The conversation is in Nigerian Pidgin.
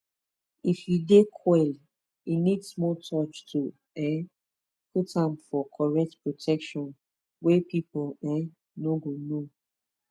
if you dey coil e need small touch to um put amfor correct protection wey people um no go know